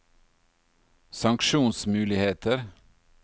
sanksjonsmuligheter